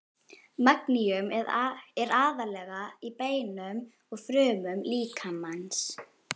Magníum er aðallega í beinum og frumum líkamans.